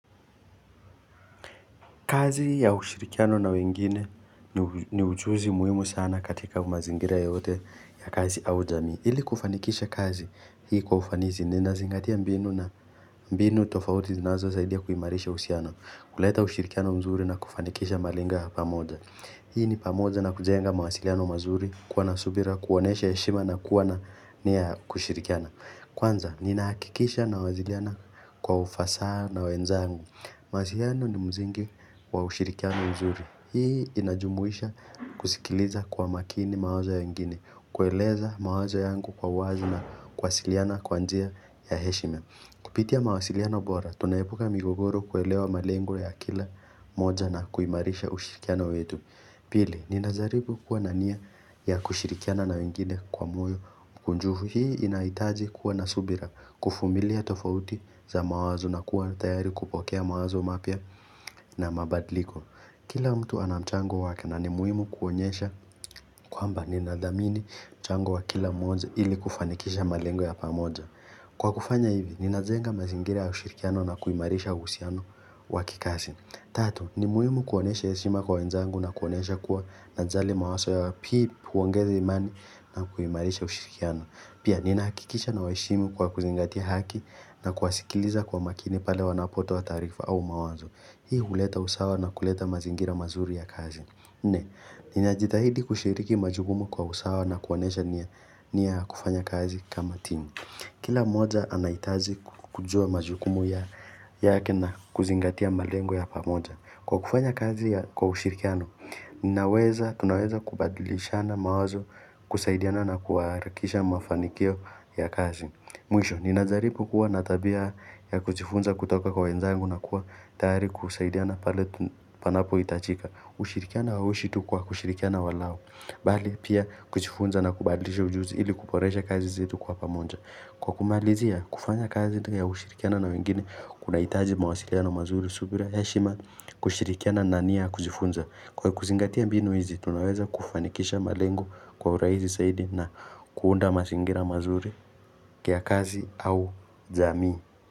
Kazi ya ushirikiano na wengine ni ujuzi muhimu sana katika mazingira yote ya kazi au jamii. Ili kufanikisha kazi, hii kwa ufanisi, nina zingatia mbinu na mbinu tofauti zinazo saidia kuimarisha uhusiano. Kuleta ushirikiano mzuri na kufanikisha malinga ya pamoja. Hii ni pamoja na kujenga mawasiliano mazuri, kuwa na subira, kuonesha heshima na kuwa nia ya kushirikiano. Kwanza, ninahakikisha na waziriana kwa ufasa na wenzangu. Mawasiliano ni mzingi wa ushirikiano mzuri. Hii inajumuisha kusikiliza kwa makini mawazo ya wengine, kueleza mawazo yangu kwa uwazi na kuwasiliana kwa njia ya heshina. Kupitia mawaziliano bora, tunaepuka migogoro kuelewa malengo ya kila moja na kuimarisha ushirikiano wetu. Pili, ni najaribu kuwa nania ya kushirikiana na wengine kwa moyo mkunjuvu hii inahitaji kuwa nasubira kuvumilia tofauti za mawazo na kuwa tayari kupokea mawazo mapia na mabadliko. Kila mtu anamchango wake na ni muhimu kuonyesha kwamba ni nadhamini mchango wa kila mmoja ili kufanikisha malengo ya pamoja. Kwa kufanya hivi, ni nazenga mazingira ya ushirikiano na kuimarisha uhusiano wakikasi. Tatu, ni muhimu kuonesha heshima kwa wenzangu na kuonesha kuwa najali mawaso yao yapili kuongeza imani na kuimarisha ushirikiano. Pia, ni nahakikisha na waheshimu kwa kuzingatia haki na kuwasikiliza kwa makini pale wanapotoa taarifa au mawazo. Hii uleta usawa na kuleta mazingira mazuri ya kazi. Nne, ni najitahidi kushiriki majukumu kwa usawa na kuonesha nia ya kufanya kazi kama timu. Kila moja anahitaji kujua majukumu ya yake na kuzingatia malengo ya pamoja. Kwa kufanya kazi ya kwa ushirikiano, ninaweza tunaweza kubadilishana mawazo kusaidiana na kuharakisha mafanikio ya kazi. Mwisho, ninazaripu kuwa natabia ya kujifunza kutoka kwa wenzangu na kuwa tayari kusaidiana pale panapo hitachika. Ushirikiano hauishi tu kwa kushirikiana walao. Bali pia kujifunza na kubadilisha ujuzi ili kuboresha kazi zetu kwa pamoja. Kwa kumalizia kufanya kazi ya kushirikiana na wengine kuna hitaji mawasiliano mazuri subira heshima kushirikiana na nania ya kujifunza. Kwa kuzingatia mbinu hizi tunaweza kufanikisha malengo kwa urahisi saidi na kuunda mazingira mazuri kia kazi au jamii.